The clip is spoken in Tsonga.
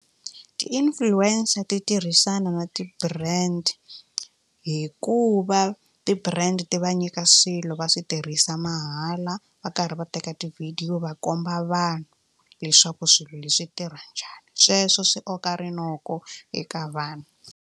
Ti-influencer ti tirhisana na ti-brand hikuva ti-brand ti va nyika swilo va swi tirhisa mahala va karhi va teka tivhidiyo va komba vanhu leswaku swilo leswi tirha njhani sweswo swi koka rinoko eka vanhu.